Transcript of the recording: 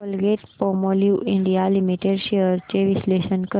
Colgate Palmolive India limited shares चे विश्लेषण कर